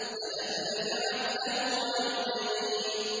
أَلَمْ نَجْعَل لَّهُ عَيْنَيْنِ